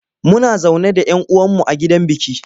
Muna zaune da yan uwan mu a gidan biki.